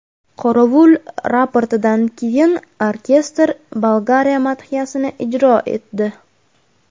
Qorovul raportidan keyin orkestr Bolgariya madhiyasini ijro etdi.